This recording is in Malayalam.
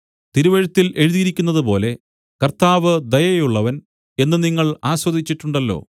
തിരുവെഴുത്തില്‍ എഴുതിയിരിക്കുന്നതുപോലെ കർത്താവ് ദയയുള്ളവൻ എന്ന് നിങ്ങൾ ആസ്വദിച്ചിട്ടുണ്ടല്ലോ